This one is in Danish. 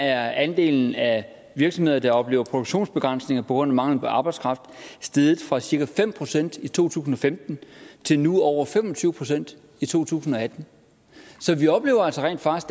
er andelen af virksomheder der oplever produktionsbegrænsninger på grund af mangel på arbejdskraft steget fra cirka fem procent i to tusind og femten til nu over fem og tyve procent i to tusind og atten så vi oplever altså rent faktisk